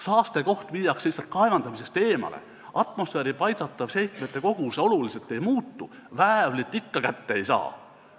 Saastekoht viiakse lihtsalt kaevandamisest eemale, atmosfääri paisatav heitmete kogus oluliselt ei muutu, väävlit ikka kätte ei saa.